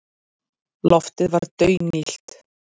Loftið var daunillt.